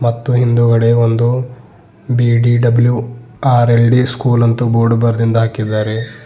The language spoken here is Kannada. ಮತ್ತು ಹಿಂದುಗಡೆ ಒಂದು ಬೀ_ಡಿ_ಡಬ್ಲ್ಯೂ ಆರ್_ಎಲ್_ಡಿ ಸ್ಕೂಲ್ ಅಂತು ಬೋರ್ಡ್ ಬರದಿಂದ ಹಾಕಿದ್ದಾರೆ.